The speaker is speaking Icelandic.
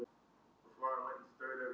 Harpa lét mig aðeins heyra það.